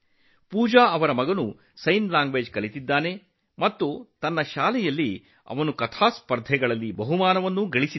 ಪೂಜಾ ಅವರ ಮಗನೂ ಸಹ ಸಂಜ್ಞೆ ಭಾಷೆಯನ್ನು ಕಲಿತಿದ್ದಾನೆ ಮತ್ತು ಅವನು ಶಾಲೆಯಲ್ಲಿ ಕಥೆ ಹೇಳುವುದರಲ್ಲಿಯೂ ಬಹುಮಾನವನ್ನು ಗೆದ್ದಿದ್ದಾನೆ